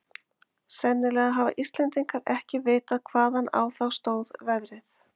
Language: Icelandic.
Sennilega hafa Íslendingar ekki vitað hvaðan á þá stóð veðrið.